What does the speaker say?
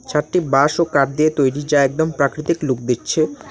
ছাদটি বাঁশ ও কাপ দিয়ে তৈরি যা একদম প্রাকৃতিক লুক দিচ্ছে।